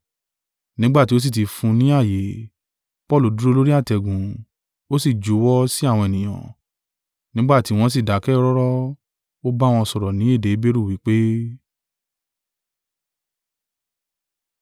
Nígbà tí ó sì tí fún un ní ààyè, Paulu dúró lórí àtẹ̀gùn, ó sì juwọ́ sí àwọn ènìyàn. Nígbà tí wọ́n sì dákẹ́ rọ́rọ́, ó bá wọn sọ̀rọ̀ ní èdè Heberu, wí pé,